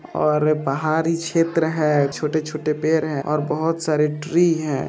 और पहाड़ी क्षेत्र है छोटे-छोटे पेड़ है और बहुत सारे ट्री है।